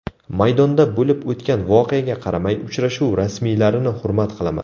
Maydonda bo‘lib o‘tgan voqeaga qaramay, uchrashuv rasmiylarini hurmat qilaman.